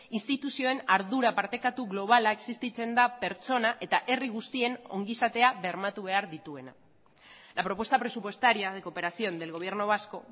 instituzioen ardura partekatu globala existitzen da pertsona eta herri guztien ongizatea bermatu behar dituena la propuesta presupuestaria de cooperación del gobierno vasco